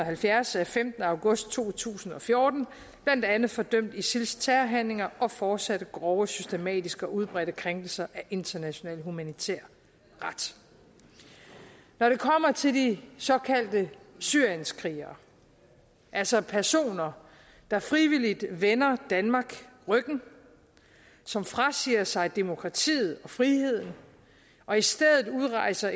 halvfjerds af femtende august to tusind og fjorten blandt andet fordømt isils terrorhandlinger og fortsatte grove systematiske og udbredte krænkelser af international humanitær ret når det kommer til de såkaldte syrienskrigere altså personer der frivilligt vender danmark ryggen og som frasiger sig demokratiet og friheden og i stedet udrejser